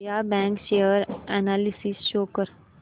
Vijaya bank share analysis show कर